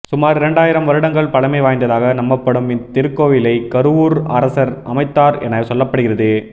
சுமார் இரண்டாயிரம் வருடங்கள் பழமை வாய்ந்ததாக நம்பப்படும் இத்திருக்கோவிலை கருவூர் அரசர் அமைத்தார் என சொல்லப்படுகிறது